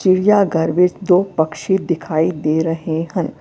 ਚਿੜੀਆ ਘਰ ਵਿੱਚ ਤੋ ਪਕਸ਼ੀ ਦਿਖਾਈ ਦੇ ਰਹੇ ਹਨ।